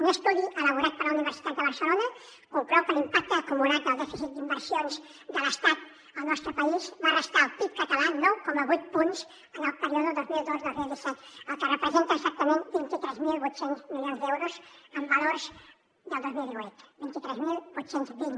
un estudi elaborat per la universitat de barcelona conclou que l’impacte acumulat del dèficit d’inversions de l’estat al nostre país va restar al pib català nou coma vuit punts en el període dos mil dos dos mil disset cosa que representa exactament vint tres mil vuit cents milions d’euros amb valors del dos mil divuit vint tres mil vuit cents i vint